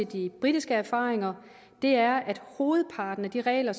de britiske erfaringer er at hovedparten af de regler